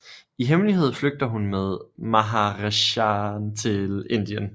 I hemmelighed flygter hun med maharajahen til Indien